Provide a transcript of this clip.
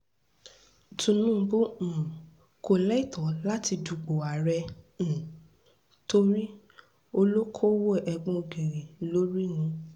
tinúbú um kò lẹ́tọ̀ọ́ láti dúpọ̀ àárẹ̀ um torí olókoòwò egbòogi lórí ni